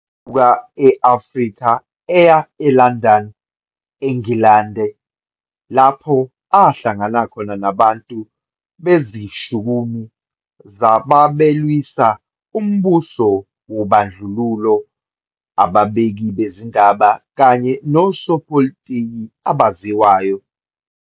E-Afrika eya eLondon, eNgilandi, lapho ahlangana khona nabantu bezishukumi zababelwisa umbuso wobandlululo, ababiki bezindaba, kanye nosopolitiki abaziwayo.